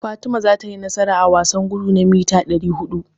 Fatima tayi nasara a wasan gudu na mita ɗari huɗu.